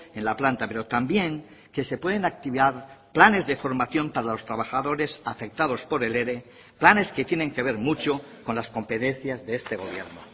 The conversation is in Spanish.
en la planta pero también que se pueden activar planes de formación para los trabajadores afectados por el ere planes que tienen que ver mucho con las competencias de este gobierno